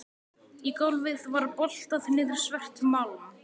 Í gólfið var boltað niður svert málm